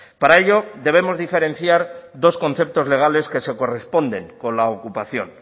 para ello debemos diferenciar dos conceptos legales que se corresponden con la ocupación